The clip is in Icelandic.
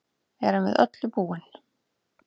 Erum við öllu búin